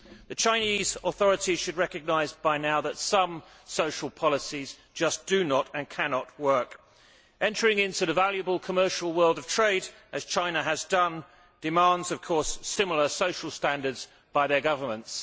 The Chinese authorities should recognise by now that some social policies just do not and cannot work. Entering into the valuable commercial world of trade, as China has done, demands of course similar social standards by their governments.